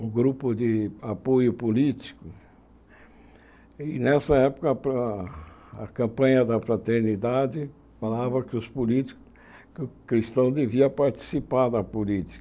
um grupo de apoio político, e nessa época para a campanha da fraternidade falava que os políticos, que o cristão devia participar da política.